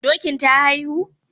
Dokin ta haihu?